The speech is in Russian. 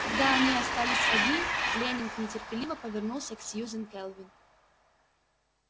когда они остались одни лэннинг нетерпеливо повернулся к сьюзен кэлвин